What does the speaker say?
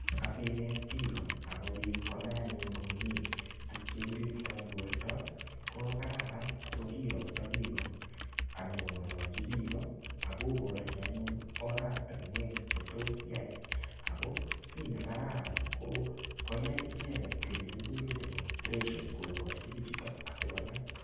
Asinet piik akopit konai anyun komye tuguuk che kiriptai porto ko kararan ko kakiyakata piko nyu kong'alachi piko ak koparchi anyun oratinwek che tos yai . Ako ki ne kararan ko koyai kiit ne kikire demonstration koparchi piik asikonai.